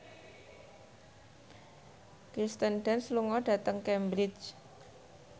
Kirsten Dunst lunga dhateng Cambridge